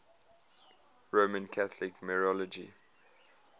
roman catholic mariology